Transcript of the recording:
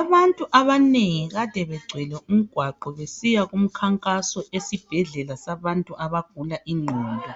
abantu abanengi kade begcwele umgwaqo besiya kumkhankaso esibhedlela sabantu abagula inqondo